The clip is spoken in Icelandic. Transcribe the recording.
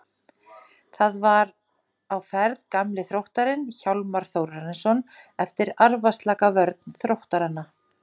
Þar var á ferð gamli Þróttarinn Hjálmar Þórarinsson eftir arfaslaka vörn Þróttaranna.